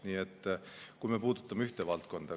Nii et kui me puudutame ühte valdkonda.